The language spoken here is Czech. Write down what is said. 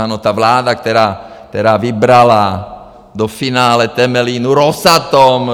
Ano, ta vláda, která vybrala do finále Temelínu Rosatom!